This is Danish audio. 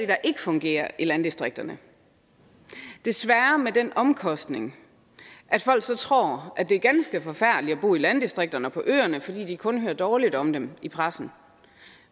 der ikke fungerer i landdistrikterne desværre med den omkostning at folk så tror at det er ganske forfærdeligt at bo i landdistrikterne og på øerne fordi de kun hører dårligt om dem i pressen